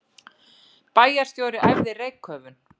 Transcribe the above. Bæjarstjóri æfði reykköfun